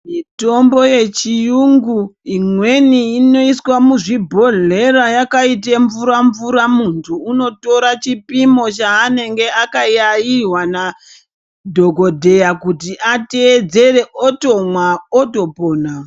Mitombo yechiyungu imweni inoiswa muzvibhodhlera yakaite mvura mvura munthu unotora chipimo chaanenge akarairwa nadhokodheya kuti ateedzere otomwa otopona.